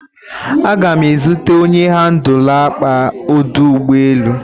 Agam ma ezute onye handụla akpa ọdụ ụgbọ elu.